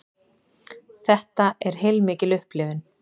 Þetta er heilmikil upplifun